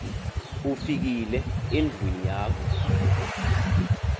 ufikile endlwini yakho